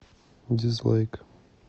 дизлайк